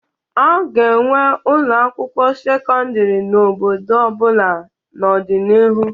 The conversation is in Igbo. A ga-enwe ụlọ akwụkwọ sekọndịrị n'obodo ọbula n'ọdịnihu.